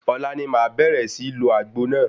Ọ̀la ni màá bẹ̀rẹ̀ sí ń lo àgbo náà.